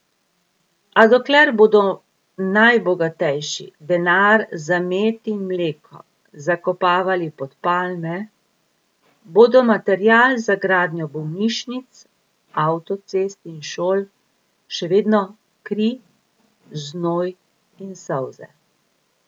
A dokler bodo najbogatejši denar za med in mleko zakopavali pod palme, bodo material za gradnjo bolnišnic, avtocest in šol še vedno kri, znoj in solze.